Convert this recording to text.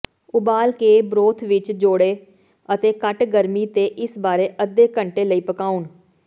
ਉਬਾਲ ਕੇ ਬਰੋਥ ਵਿੱਚ ਜੋੜੋ ਅਤੇ ਘੱਟ ਗਰਮੀ ਤੇ ਇਸ ਬਾਰੇ ਅੱਧੇ ਘੰਟੇ ਲਈ ਪਕਾਉਣ